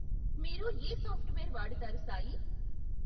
మీరు ఏ సాఫ్ట్వేర్ వాడుతారు సాయీ.